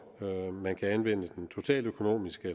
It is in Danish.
man kan anvende den totaløkonomiske